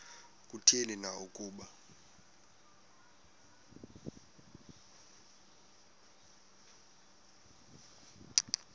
kutheni na ukuba